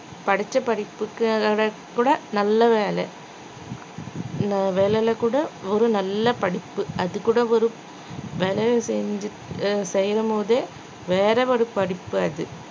படிச்ச படிப்புக்காக கூட நல்ல வேலை நா வேலையில கூட ஒரு நல்ல படிப்பு அதுகூட ஒரு வேலை செஞ்சு~ செய்யும் போதே வேறு ஒரு படிப்பு அது